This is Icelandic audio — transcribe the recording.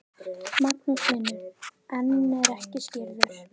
Magnús Hlynur: En er ekki skírður?